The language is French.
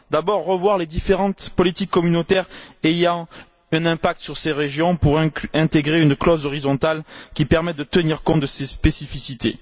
Tout d'abord, revoir les différentes politiques communautaires ayant un impact sur ces régions pour intégrer une clause horizontale qui permette de tenir compte de ces spécificités.